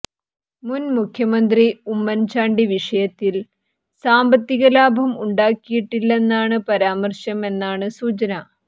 മുൻ മുഖ്യമന്ത്രി ഉമ്മൻ ചാണ്ടി വിഷയത്തിൽ സാമ്പത്തിക ലാഭം ഉണ്ടാക്കിയിട്ടില്ലെന്നാണ് പരാമർശം എന്നാണ് സൂചന